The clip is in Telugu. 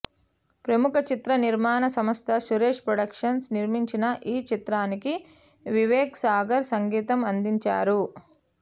ప్రముఖ చిత్ర నిర్మాణ సంస్థ సురేష్ ప్రొడక్షన్స్ నిర్మించిన ఈచిత్రానికి వివేక్ సాగర్ సంగీతం అందించారు